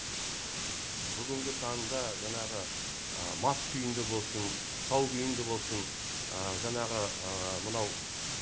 бүгінгі таңда жаңағы мас күйінде болсын сау күйінде болсын жаңағы мынау